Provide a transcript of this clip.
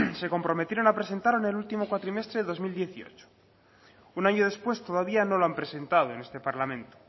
se comprometieron a presentarla en el último cuatrimestre de dos mil dieciocho un año después todavía no lo han presentado en este parlamento